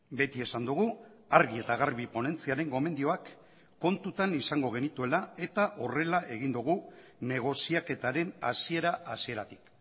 beti esan dugu argi eta garbi ponentziaren gomendioak kontutan izango genituela eta horrela egin dugu negoziaketaren hasiera hasieratik